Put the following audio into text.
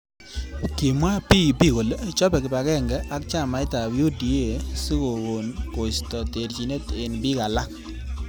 Kimwa PEP kole chopei kipagenge ak chamait ab UDA sikokon koisto terjinet eng bik alak.